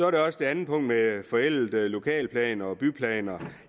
er også et andet punkt med forældede lokalplaner og byggeplaner